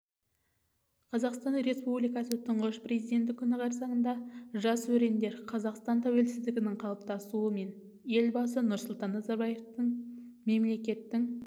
қазақстан республикасы тұңғыш президенті күні қарсаңында жас өрендер қазақстан тәуелсіздігінің қалыптасуы мен елбасы нұрсұлтан назарбаевтың мемлекеттің